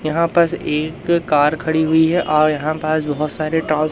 यहां पर एक कार खड़ी हुई है और यहां पास बहोत सारे टो--